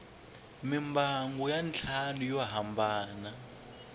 mimbangu ya ntlhanu yo hambana